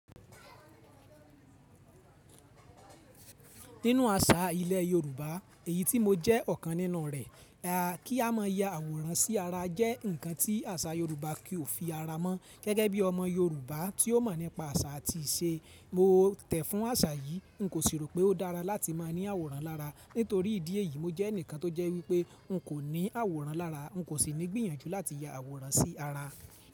Nínú àṣà ilẹ̀ Yorùbá, èyí tí mo jẹ́ ọ̀kan nínú rẹ̀, kí a má ya àwòrán sí ara jẹ́ ǹkan tí àṣà Yorùbá kì ó fi ara mọ́. Gẹ́gẹ́ bí ọmọ Yorùbá tí ó mọ̀ nípa àṣà àti ìṣe, mo tẹ̀ fún àṣà yìí. N kò sì rò pé ó dára láti máa ní àwòrán lára. Nítorí ìdí èyí, mo jẹ́ ẹnìkan tó jẹ́ wípé n kò ní àwòrán lára, n kò sì ní gbìyànjú láti ya àwòrán sí ara.